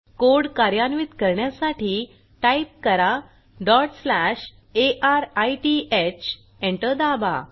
code कार्यान्वित करण्यासाठी type करा अरिथ एंटर दाबा